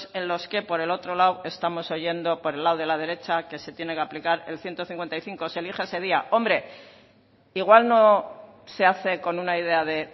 en los que por el otro lado estamos oyendo por el lado de la derecha que se tiene que aplicar el ciento cincuenta y cinco se elige ese día hombre igual no se hace con una idea de